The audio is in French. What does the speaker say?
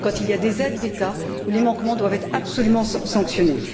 Quand il y a des aides d'État, les manquements doivent être absolument sanctionnés.